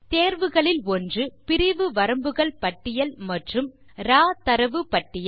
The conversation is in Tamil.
தேர்வுகளில் ஒன்று பிரிவு வரம்புகள் பட்டியல் மற்றும் ராவ் தரவு பட்டியல்